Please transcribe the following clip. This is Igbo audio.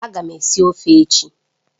Ága m esi ofe echi.